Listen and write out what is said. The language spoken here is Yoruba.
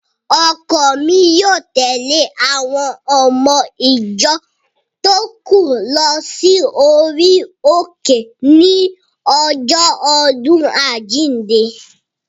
Ọkọ mi yóò tèlé àwon ọmọ ìjọ tó kù lọ sí orí òkè ní ọjọ́ ọdún àjínde